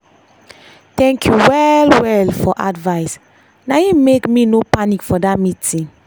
thank you well well for advice na him make me no panic for that meeting.